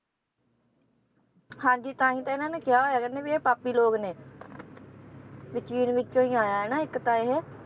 ਹਾਂਜੀ ਤਾਂ ਹੀ ਤਾਂ ਇਹਨਾਂ ਨੇ ਕਿਹਾ ਹੋਇਆ ਕਹਿੰਦੇ ਵੀ ਇਹ ਪਾਪੀ ਲੋਕ ਨੇ ਵੀ ਚੀਨ ਵਿੱਚੋਂ ਹੀ ਆਇਆ ਹੈ ਨਾ ਇੱਕ ਤਾਂ ਇਹ